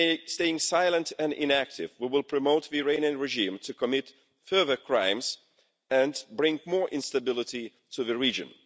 Staying silent and inactive, we will promote the Iranian regime to commit further crimes and bring more instability to the region.